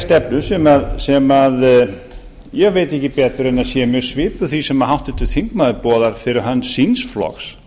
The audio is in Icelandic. stefnu sem ég veit ekki betur en sé mjög svipuð því sem háttvirtur þingmaður boðar fyrir hönd síns flokks